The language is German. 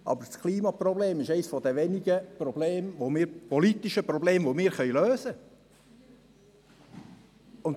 Aber das Klimaproblem ist eines der wenigen politischen Probleme, die wir lösen können!